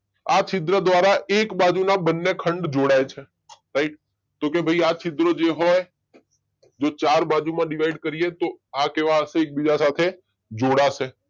આ છિદ્ર દ્વારા એક બાજુના બંને ખંડ જોડાય છે રાઈટ તો કે ભાઈ આ છિદ્રો જે હોય જો ચાર બાજુમાં ડીવાઈડ કરે તો આ કેવા હશે? એકબીજા સાથે જોડાશે